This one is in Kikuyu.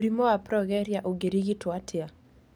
Mũrimũ wa progeria ũngĩrigitwo atĩa?